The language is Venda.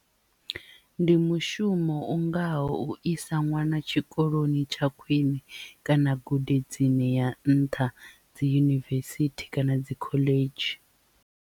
Ndi mushumo u ngaho u isa ṅwana tshikoloni tsha khwiṋe kana gudedzini ya nṱha dzi yunivesithi kana dzi khoḽedzhi.